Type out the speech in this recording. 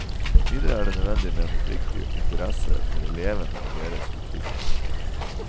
Videre er det nødvendig med en oppriktig interesse for elevene og deres utvikling.